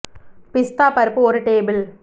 பிஸ்தா பருப்பு ஒரு டேபிள்